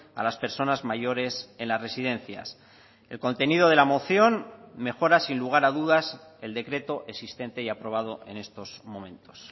a las personas mayores en las residencias el contenido de la moción mejora sin lugar a dudas el decreto existente y aprobado en estos momentos